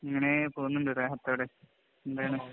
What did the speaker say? ഇങ്ങനെ പോകുന്നുണ്ട്. എന്താണ്?